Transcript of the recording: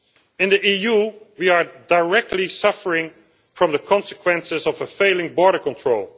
In the EU, we are directly suffering from the consequences of failing border control.